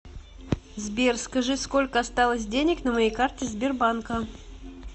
сбер скажи сколько осталось денег на моей карте сбербанка